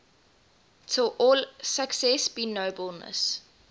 till all success be nobleness